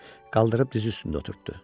Qaldırıb diz üstündə oturtddu.